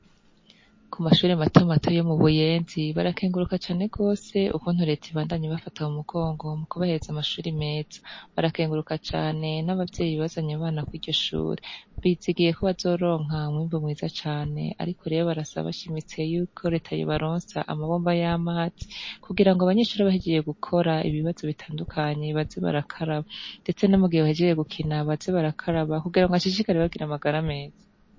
Kumashure matomato yo mu buyenzi barakenguruka cane gose ikwungene reta ibafata mu mugongo mu kubahereza amashure meza barakenguruka cane nabavyeyi bazanye abana kwiryo shure bizigiye ko bazoronka umwimbu mwiza cane ariko rero barasaba bashimitse reta yuko yobaronsa amabombo yamazi kugirango abanyeshure bahejeje gukora ibibazo bitandukanye baze barakaraba ndetse no mu gihe bahejeje gukina baze barakaraba kugirango bashishikare kugira amagara meza.